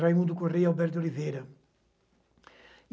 Raimundo Correia e Alberto Oliveira.